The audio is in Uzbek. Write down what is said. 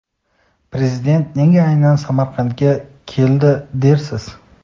Prezident nega aynan Samarqandga keldi dersiz.